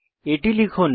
এটি লিখুন